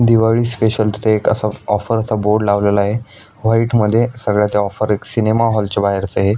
Diwali special तिथ एक असा ऑफर असा बोर्ड लावलेलाय व्हाइट मधी सगळ्या त्या ऑफर एक सिनेमा हाॅलच्या बाहेरचय.